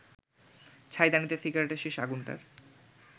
ছাইদানিতে সিগারেটের শেষ আগুনটার